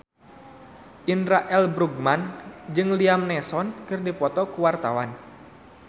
Indra L. Bruggman jeung Liam Neeson keur dipoto ku wartawan